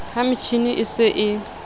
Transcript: ha metjhini e se e